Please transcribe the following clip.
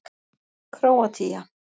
Króatía